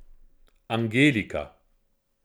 Angelika.